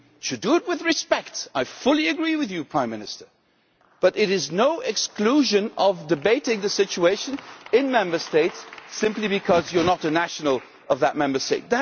We should do it with respect, I fully agree with you, Prime Minister, but you cannot be excluded from debating the situation in a Member State simply because you are not a national of that Member State.